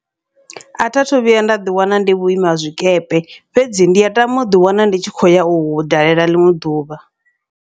Atha thu vhuya nda ḓi wana ndi vhuima zwikepe, fhedzi ndi a tama uḓi wana ndi tshi khou ya uhu dalela ḽiṅwe ḓuvha.